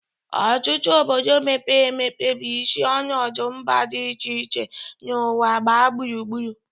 Ọtụtụ obodo mepere emepe bụ isi ọnọdụ mba dị iche iche n'ụwa gbaa gburugburu.